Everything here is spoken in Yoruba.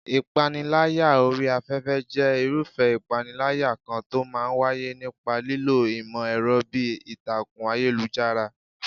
Ìpániláyà orí afẹ́fẹ́ jẹ́ irúfẹ́ ìpániláyà kan tó máa ń wáyé nípa lílo ìmọ̀ ẹ̀rọ bíi ìtàkùn ayélujára.